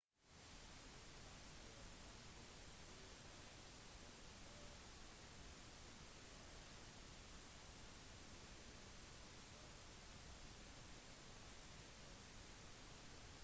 kanskje en dag vil dine oldebarn befinne seg i en utenomjordisk verden og undre seg om sine forfedre